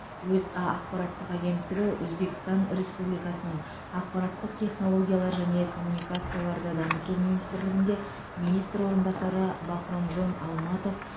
өза ақпараттық агенттігі өзбекстан республикасының ақпараттық технологиялар және коммуникацияларды дамыту министрлігінде министр орынбасары бахромжон алматов